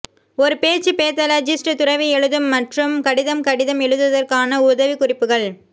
ஒரு பேச்சு பேதாலஜிஸ்ட் துறவி எழுதும் மற்றும் கடிதம் கடிதம் எழுதுவதற்கான உதவிக்குறிப்புகள்